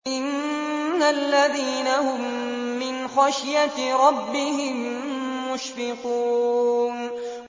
إِنَّ الَّذِينَ هُم مِّنْ خَشْيَةِ رَبِّهِم مُّشْفِقُونَ